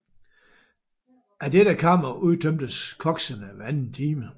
Af dette kammer udtømtes koksene hver anden time